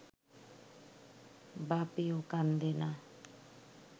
বাপেও কান্দে না